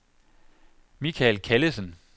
Michael Callesen